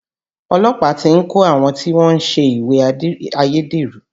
Olọ́pàá ti ń kò àwọn tí wọ́n ń ṣèwé ayédèrú